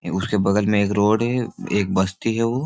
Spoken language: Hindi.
ए उसके बगल में एक रोड है। एक बस्ती है वो।